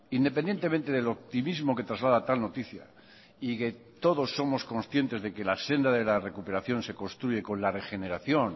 independientemente del optimismo que traslada tal noticia y que todos somos conscientes de que la senda de la recuperación se construye con la regeneración